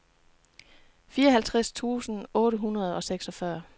fireoghalvtreds tusind otte hundrede og seksogfyrre